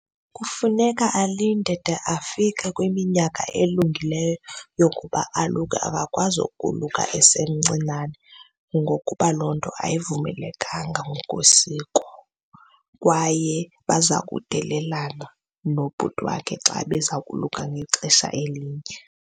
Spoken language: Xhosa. Kufuneka alinde de afike kwiminyaka elungileyo yokuba aluke. Akakwazi ukoluka esimncinane ngokuba loo nto ayivumelekanga ngokwesiko kwaye baza kudelelana nobhuti wakhe xa beza koluka ngexesha elinye.